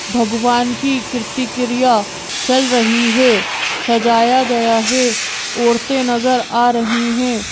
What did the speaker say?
भगवान की कृति क्रिया चल रही है सजाया गया है ओरतें नजर आ रही हैं।